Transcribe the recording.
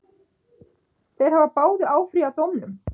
Þeir hafa báðir áfrýjað dómnum.